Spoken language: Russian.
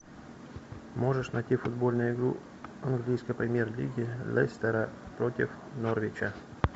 можешь найти футбольную игру английской премьер лиги лестера против норвича